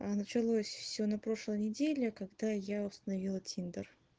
а началось всё на прошлой неделе когда я установила тиндер